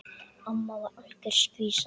Amma var algjör skvísa.